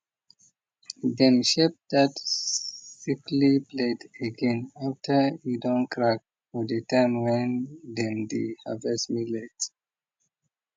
dem shape that sickly blade again after e don crack for the time when dem dey harvest millet